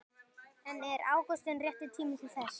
En er ágúst rétti tíminn til þess?